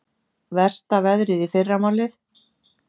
Versta veðrið í fyrramálið